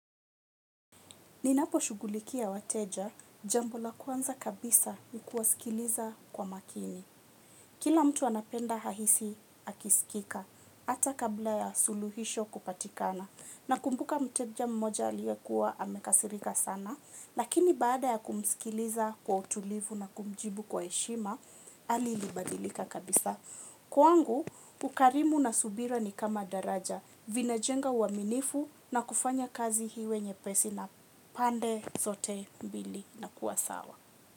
Ninapo shughulikia wateja, jambo la kwanza kabisa ni kuwasikiliza kwa makini. Kila mtu anapenda hahisi akisikika hata kabla ya suluhisho kupatikana. Na kumbuka mteja mmoja liyekua amekasirika sana lakini baada ya kumsikiliza kwa utulivu na kumjibu kwa heshima hali ilibadilika kabisa. Kwangu, ukarimu na subira ni kama daraja vinajenga uaminifu na kufanya kazi iwe nyepesi na pande zote mbili na kuwasawa.